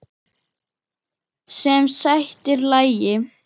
Sem sætir lagi.